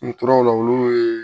N tora o la olu ye